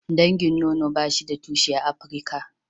Dangin nono ba shi da tushe a Afrika.